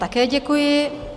Také děkuji.